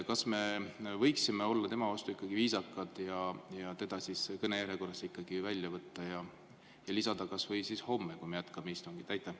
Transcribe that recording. Kas me võiksime olla tema vastu ikkagi viisakad ja ta kõnejärjekorrast välja võtta ja lisada ta kas või homme, kui me jätkame istungit?